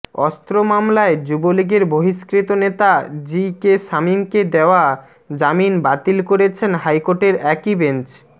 অস্ত্র মামলায় যুবলীগের বহিষ্কৃত নেতা জি কে শামীমকে দেওয়া জামিন বাতিল করেছেন হাইকোর্টের একই বেঞ্চ